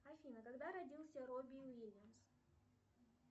афина когда родился робби уильямс